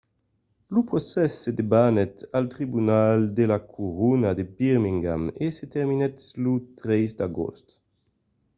lo procès se debanèt al tribunal de la corona de birmingham e se terminèt lo 3 d’agost